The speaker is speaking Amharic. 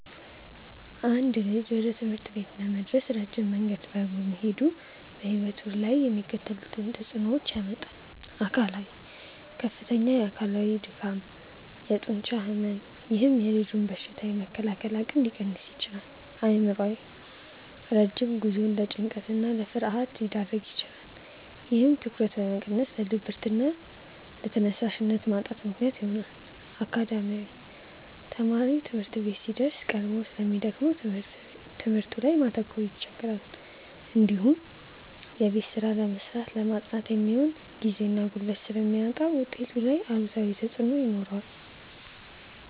አንድ ልጅ ወደ ትምህርት ቤት ለመድረስ ረጅም መንገድ በእግሩ መሄዱ በሕይወቱ ላይ የሚከተሉትን ተጽዕኖዎች ያመጣል፦ አካላዊ፦ ከፍተኛ አካላዊ ድካም፣ የጡንቻ ሕመም፥፥ ይህም የልጁን በሽታ የመከላከል አቅም ሊቀንስ ይችላል። አእምሯዊ፦ ረጅም ጉዞው ለጭንቀትና ለፍርሃት ሊዳርግ ይችላል። ይህም ትኩረትን በመቀነስ ለድብርትና ለተነሳሽነት ማጣት ምክንያት ይሆናል። አካዳሚያዊ፦ ተማሪው ትምህርት ቤት ሲደርስ ቀድሞ ስለሚደክመው በትምህርቱ ላይ ማተኮር ይቸገራል። እንዲሁም የቤት ስራ ለመስራትና ለማጥናት የሚሆን ጊዜና ጉልበት ስለሚያጣ ውጤቱ ላይ አሉታዊ ተጽዕኖ ይኖረዋል።